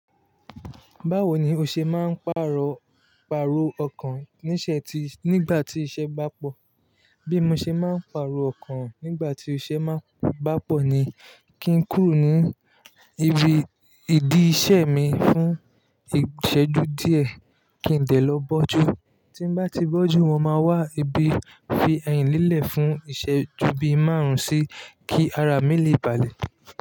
Báwo ni o ṣe máa ń pàrọ̀, pàrọ̀ ọkàn níṣẹ́ tí, nígbà tí iṣẹ́ bá pọ̀? Bí mo ṣe máa ń pàrọ̀ ọkàn nígbà tí iṣẹ́ máa ń bá pọ̀ ni kí n kúrò ní ibi, ìdí iṣẹ́ mi fún ìsẹ́jú díẹ̀ kí n de lọ bọ́jú. Tí bá ti bọ́jú, mo máa wà ní ibi fi ẹyin líle fún iṣẹ́ ju bí márùn-ún sí kí ara mi lè balẹ̀.